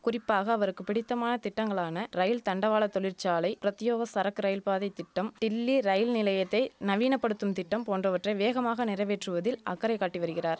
குறிப்பாக அவருக்கு பிடித்தமான திட்டங்களான ரயில் தண்டவாள தொழிற்சாலை பிரத்யோக சரக்கு ரயில்பாதை திட்டம் டில்லி ரயில் நிலையத்தை நவீனப்படுத்தும் திட்டம் போன்றவற்றை வேகமாக நிறைவேற்றுவதில் அக்கறை காட்டி வரிகிறார்